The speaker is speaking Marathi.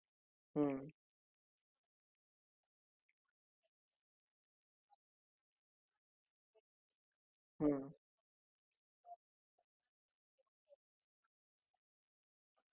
तर तो agent तुम्हाला सगळी माहिती दिल कि आता तुमच्या म्हणजे हा replacement piece आहे तर मग एक पेपर तो घेऊन येईलं तो तुम्हाला sign करावा लागेल कि हा